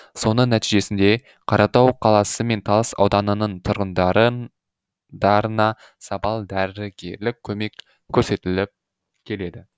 соның нәтижесінде қаратау қаласы мен талас ауданының тұрғындарына сапалы дәрігерлік көмек көрсетіліп келеді